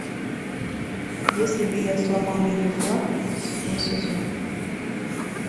если бы я сломал ее флаг седьмой сезон